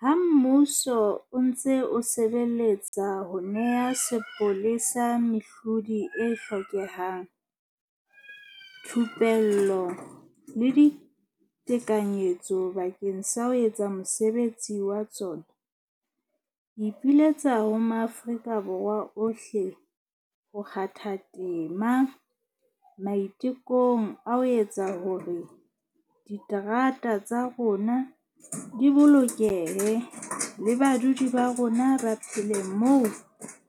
Ha mmuso o ntse o sebeletsa ho neha sepolesa mehlodi e hlokehang, thupello le ditekanyetso bakeng sa ho etsa mosebetsi wa sona, Ke ipiletsa ho maAfrika Borwa ohle ho kgatha tema maitekong a ho etsa hore diterata tsa rona di bolokehe le badudi ba rona ba phele moo